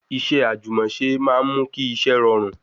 Iṣẹ́ àjùmọ̀ṣe máa ń mú kí iṣẹ́ rọrùn